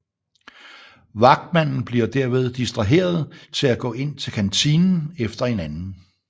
Vagtmanden bliver derved distraheret til at gå ind til kantinen efter en anden